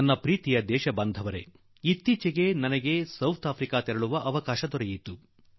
ನನ್ನೊಲವಿನ ದೇಶವಾಸಿಗಳೇ ಇತ್ತೀಚೆಗೆ ನಾನಗೆ ದಕ್ಷಿಣ ಆಫ್ರಿಕಾಗ ಹೋಗುವ ಅವಕಾಶ ದೊರಕಿತು